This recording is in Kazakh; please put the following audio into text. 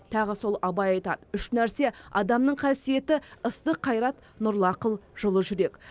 тағы сол абай айтады үш нәрсе адамның қасиеті ыстық қайрат нұрлы ақыл жылы жүрек